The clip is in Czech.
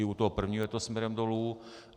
I u toho prvního je to směrem dolů.